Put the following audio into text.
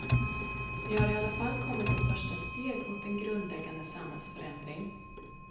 Vi har i alla fall kommit ett första steg mot en grundläggande samhällsförändring.